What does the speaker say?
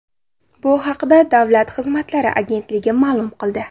Bu haqda Davlat xizmatlari agentligi ma’lum qildi .